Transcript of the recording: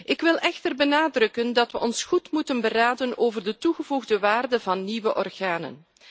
Ik wil echter benadrukken dat we ons goed moeten beraden over de toegevoegde waarde van nieuwe organen.